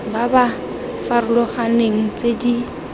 ba ba farologaneng tse di